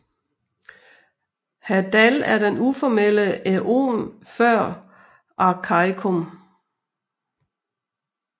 Hadal er den uformelle æon før Arkæikum